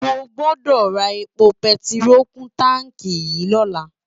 Mógbódó rá épó pètiró kún nu tánki yi lòlá